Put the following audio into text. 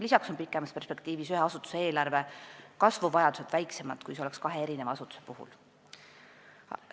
Lisaks on pikemas perspektiivis ühe asutuse eelarve kasvuvajadused väiksemad, kui oleks kahe erineva asutuse puhul.